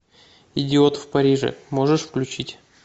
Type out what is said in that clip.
идиот в париже можешь включить